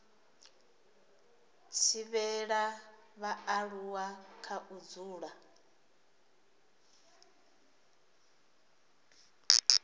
thivhela vhaaluwa kha u dzula